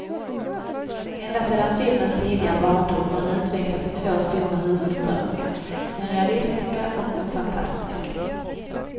Ända sedan filmens tidiga barndom har den utvecklats i två stora huvudströmningar, den realistiska och den fantastiska.